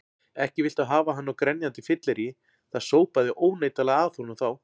Ekki viltu hafa hann á grenjandi fylleríi, það sópaði óneitanlega að honum þá.